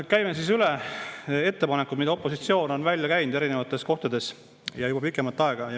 Käime üle ettepanekud, mis opositsioon on eri kohtades välja käinud, ja seda juba pikemat aega.